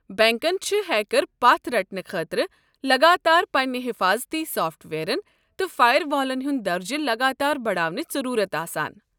بنٛکن چھِ ہیكر پتھ رٹنہٕ خٲطرٕ لگاتار پنٕنہِ حٮ۪فاظتی سافٹ وییرن تہٕ فایر والن ہُنٛد درجہٕ لگاتار بڈاونٕچ ضروٗرت آسان۔